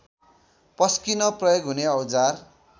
पस्किन प्रयोग हुने औजार